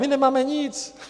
My nemáme nic.